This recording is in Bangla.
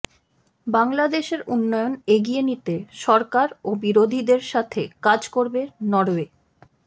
বাংলাদেশের উন্নয়ন এগিয়ে নিতে সরকার ও বিরোধীদের সাথে কাজ করবে নরওয়ে